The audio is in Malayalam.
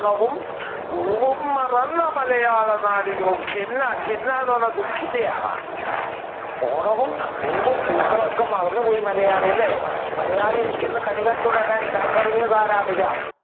പൂവും മറന്ന മലയാള നാടിങ്ങു ഖിന്ന ഖിന്ന എന്ന് പറഞ്ഞാൽ ദുഖിതയാണ്. ഓണവും പൂവും പൂക്കളമൊക്കെ മറന്നുപോയി മലയാളി അല്ലെ മലയാളി